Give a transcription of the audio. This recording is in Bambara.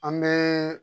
An bɛ